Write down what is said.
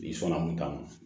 Bi sɔni ta ma